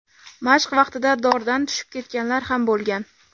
Mashq vaqtida dordan tushib ketganlar ham bo‘lgan .